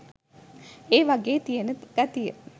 ඒවාගේ තියන ගතිය